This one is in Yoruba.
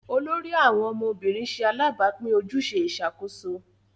olórí àwọn ọmọ obìrin ṣe alabapin ojúṣe Ìṣàkóso